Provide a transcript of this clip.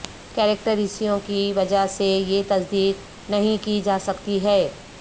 کاریکیٹریسیوں کی وجہ سے یہ تصدیق نہیں کی جا سکتی ہے